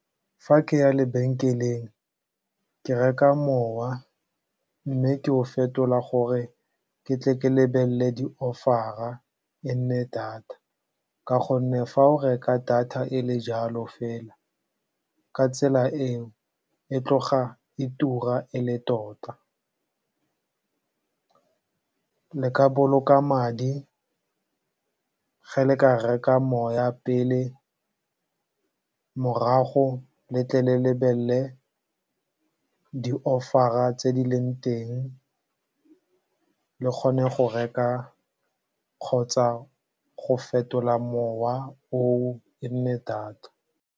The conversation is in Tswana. Fa ke ya lebenkeleng, ke reka mowa mme ke o fetola gore ke tle ke lebelele di-offer-a e nne data ka gonne fa o reka data e le jalo fela, ka tsela eo, e tloga e tura e le tota. Le ka boloka madi fa le ka reka mowa pele, morago le tle le lebelele di-offer-a tse di leng teng, le kgone go reka kgotsa go fetola mowa oo e nne data.